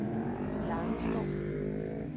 Langeskov